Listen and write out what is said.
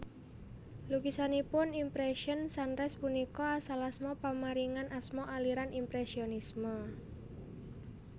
Lukisanipun Impression Sunrise punika asal asma pamaringan asma aliran impresionisme